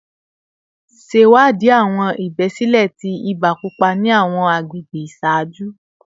Ṣewadii awọn ibesile ti iba pupa ni awọn agbegbe iṣaaju